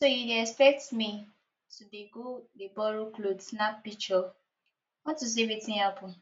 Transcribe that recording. so you dey expect me to dey go dey borrow cloth snap pishure on to say wetin happen